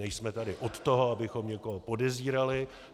Nejsme tady od toho, abychom někoho podezírali.